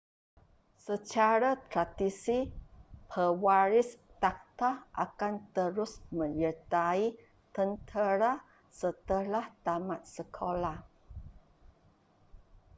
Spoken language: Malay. secara tradisi pewaris takhta akan terus menyertai tentera setelah tamat sekoloah